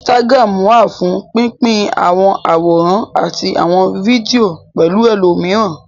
Instagram wà fún pín pín àwọn àwòrán àti àwọn fídíò pẹ̀lú ẹlòmíràn